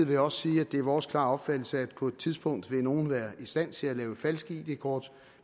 vil også sige at det er vores klare opfattelse at på et tidspunkt vil nogen være i stand til at lave falske id kort